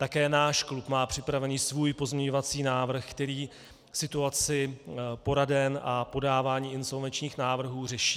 Také náš klub má připravený svůj pozměňovací návrh, který situaci poraden a podávání insolvenčních návrhů řeší.